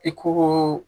I ko ko